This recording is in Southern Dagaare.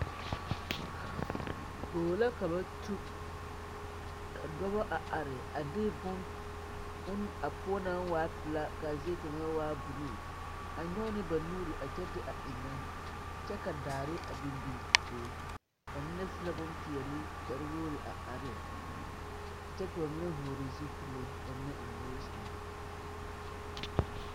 Bogi la ka ba tu ka dɔba a are a de bon a poɔ naŋ waa pilaa ka a zie waa buluu a nyɔge ne na nuuri a kyɛ a de a eŋnɛ kyɛ ka daare a biŋbiŋ a be ba mnie su la boŋ peɛle kpare wogri a are kyɛ ka ba mine vɔgle zupile ka ba mine eŋ nosi mag.